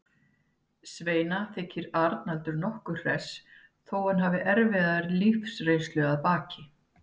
Svenna þykir Arnaldur nokkuð hress þó að hann hafi erfiða lífsreynslu að baki.